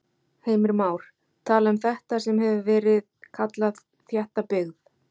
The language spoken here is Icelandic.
Heimir Már:. tala um þetta sem hefur verið kallað þétta byggð?